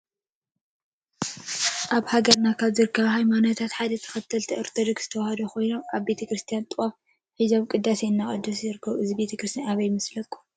አብ ሃገረና ካበ ዝርከቡ ሃይማኖታት ሓደ ተከተልቲ አርቶዶክስ ተዋህዶ ኮይኖም አብ ቤተከርስትያን ጥዋፍ ሒዚም ቅዳሴ እናቀደሱ ይርከቡ። እዚ ቤተከርስትያን አበይ ይመስለኩም?